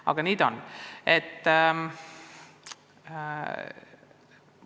Aga praegu on kord niisugune.